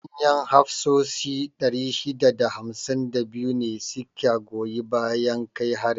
Manyan hafsoshi 652 ne su ka goyi bayan kai harin.